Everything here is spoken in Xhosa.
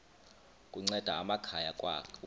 kunceda amakhaya ukwakha